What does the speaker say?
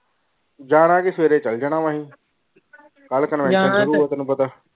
ਜਾਣਾ ਕਿ ਸਵੇਰੇ ਚਲੇ ਜਾਣਾ ਅਸੀਂ ਕਲ ਤੈਨੂੰ ਪਤਾ।